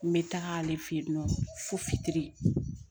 N bɛ taga ale fɛ yen nɔ fo fitiri